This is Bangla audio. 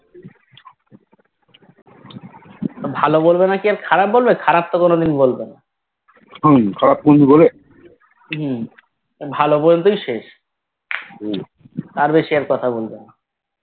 ভালো বলবে নাকি আর খারাপ বলবে খারাপ তো আর কোনোদিন বলবেনা হম ভালো বলবেই শেষ তার বেশি আর কথা বলবেনা